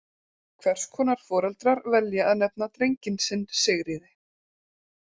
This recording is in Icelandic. Hvers konar foreldrar velja að nefna drenginn sinn Sigríði?